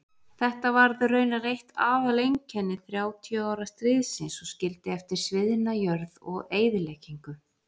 Þetta varð raunar eitt aðaleinkenni þrjátíu ára stríðsins og skildi eftir sviðna jörð og eyðileggingu.